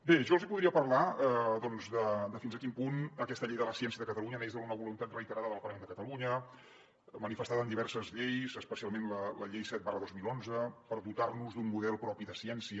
bé jo els podria parlar doncs de fins a quin punt aquesta llei de la ciència de catalunya neix d’una voluntat reiterada del parlament de catalunya manifestada en diverses lleis especialment la llei set dos mil onze per dotar nos d’un model propi de ciència